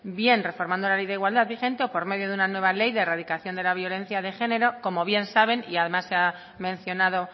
bien reformando la ley de igualdad vigente o por medio de una nueva ley de erradicación de la violencia de género como bien saben y además se ha mencionado